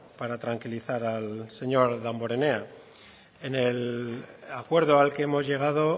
para tranquilizar al señor damborenea en el acuerdo al que hemos llegado